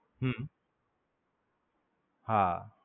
હમ હા.